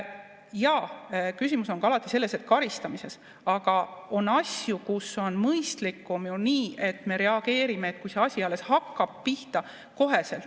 Jaa, küsimus on ka alati selles, et karistamist, aga on asju, kus on mõistlikum nii, et me reageerime kohe, kui see asi alles hakkab pihta.